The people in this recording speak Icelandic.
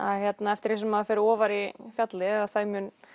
eftir því sem maður fer ofar á fjallið því